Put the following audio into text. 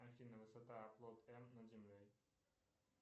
афина высота оплот м над землей